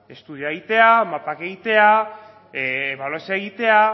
estudioa egitea mapak egitea ebaluazioa egitea